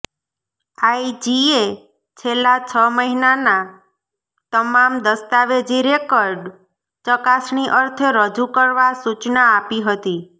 આઇજીએ છેલ્લા છ મહિનાના તમામ દસ્તાવેજી રેકર્ડ ચકાસણી અર્થે રજૂ કરવા સૂચના આપી હતી